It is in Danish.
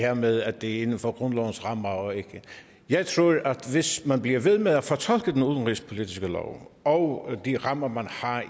her med at det er inden for grundlovens rammer jeg tror at hvis man bliver ved med at fortolke den udenrigspolitiske lov og de rammer man har